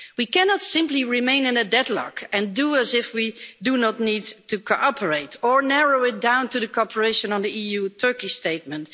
We cannot simply remain in a deadlock and act as if we do not need to cooperate or narrow it down to cooperation on the EU-Turkey Statement.